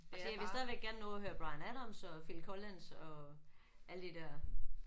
Altså jeg vil stadigvæk gerne nå at høre Bryan Adams og Phil Collins og alle de der